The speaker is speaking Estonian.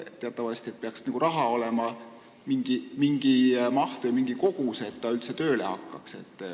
Teatavasti peaks raha olema mingi kogus, et süsteem üldse tööle hakkaks.